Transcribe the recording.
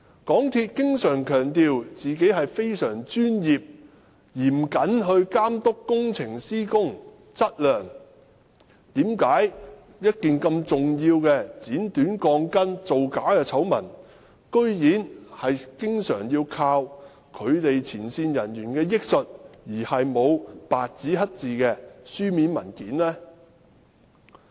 港鐵公司經常強調自己非常專業、嚴謹地監督工程施工質量，但為何這麼重要的剪短鋼筋、造假的醜聞，居然要依靠港鐵公司前線人員憶述，而沒有白紙黑字的書面文件？